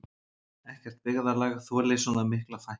Ekkert byggðarlag þoli svona mikla fækkun